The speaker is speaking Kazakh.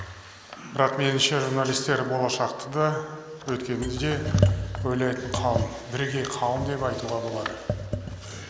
бірақ меңінше журналистер болашақты да өткенді де ойлайтын қауым бірегей қауым деп айтуға болады